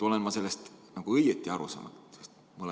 Olen ma neist eelnõudest õigesti aru saanud?